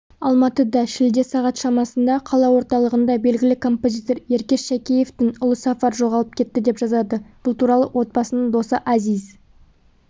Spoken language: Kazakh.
алматыда шілде сағат шамасында қала орталығында белгілі композитор еркеш шәкеевтің ұлы сафар жоғалып кетті деп жазады бұл туралы отбасының досы әзиз